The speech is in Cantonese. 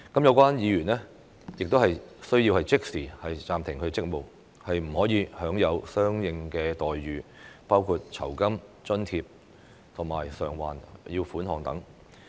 有關議員亦須即時暫停職務，不得享受相應待遇，包括酬金、津貼及償還款額等。